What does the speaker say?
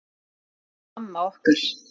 Svona var mamma okkar.